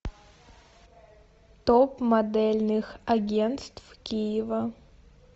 топ модельных агентств киева